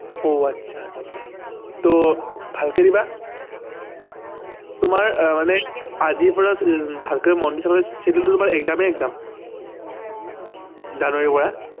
অহ আচ্ছা আচ্ছা ভালকে দিবা তোমাৰ মানে আজিৰ পৰা ভালকে মন দি চাবা দেই schedule টো তোমাৰ exam এ exam জানুৱাৰী পৰা